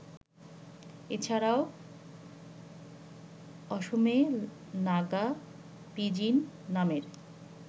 এছাড়াও অসমে নাগা পিজিন নামের